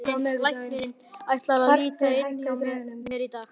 Læknirinn ætlar að líta inn hjá mér í dag.